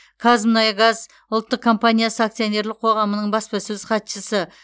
қазмұнайгаз ұлттық компаниясы акционерлік қоғамының баспасөз хатшысы